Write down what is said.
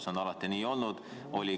See on alati nii olnud.